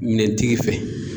Minɛntigi fɛ